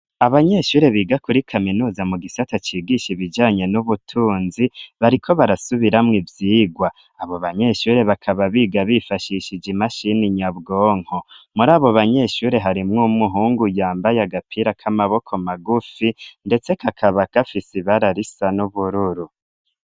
Abanyeshure biga kuri kaminuza mu gisata cigisha ibijanye n'ubutunzi bariko barasubiramwo ivyigwa abo banyeshuri bakaba biga bifashishije imashini nyabwonko muri abo banyeshuri harimwo umuhungu yambaye agapira k'amaboko magufi, ndetse kakaba kafise ibara risa n'ubururu.